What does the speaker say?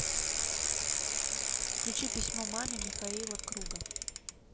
включи письмо маме михаила круга